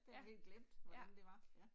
Det havde jeg helt glemt, hvordan det var, ja